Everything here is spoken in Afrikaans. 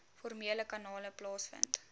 formele kanale plaasvind